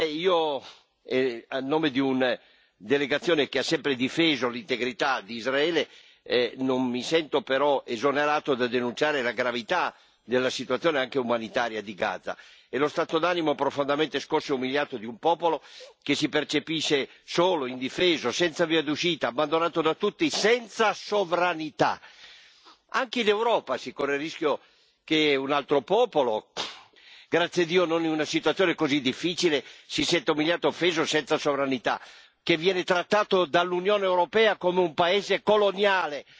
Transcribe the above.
Io a nome di un delegazione che ha sempre difeso l'integrità di Israele, non mi sento però esonerato dal denunciare la gravità della situazione anche umanitaria di Gaza, e lo stato d'animo profondamente scosso e umiliato di un popolo che si percepisce solo, indifeso, senza via d'uscita, abbandonato da tutti, senza sovranità. Anche in Europa si corre il rischio che un altro popolo, grazie a Dio non in una situazione così difficile, si senta umiliato e offeso e senza sovranità, che viene trattato dall'Unione europea come un paese coloniale.